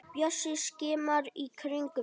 Bjössi skimar í kringum sig.